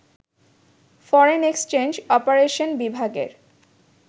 foreign exchange operation বিভাগের